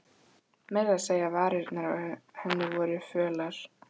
Meira að segja varirnar á henni voru fölar.